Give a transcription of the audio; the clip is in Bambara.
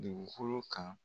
Dugukolo kan.